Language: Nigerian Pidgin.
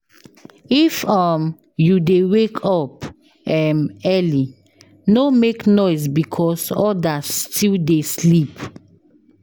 If um you dey wake up um early, no make noise because odas still dey sleep.